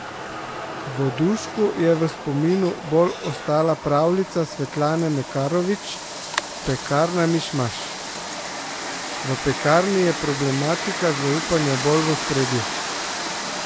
Vodušku je v spominu bolj ostala pravljica Svetlane Makarovič Pekarna Mišmaš: 'V pekarni je problematika zaupanja bolj v ospredju.